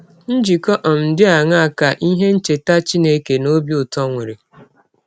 Njikọ um dị aṅaa ka ihe ncheta Chineke na ọbi ụtọ nwere?